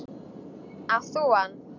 Átt þú hann?